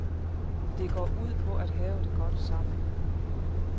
Det går ud på at have det godt sammen.